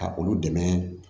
Ka olu dɛmɛ